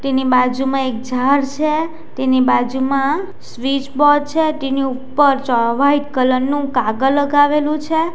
તેની બાજુમાં એક ઝાડ છે તેની બાજુમાં સ્વિચ બોર્ડ છે તેની ઉપર ચ વાઈટ કલર નું કાગળ લગાવેલું છે.